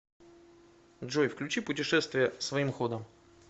джой включи путешествия своим ходом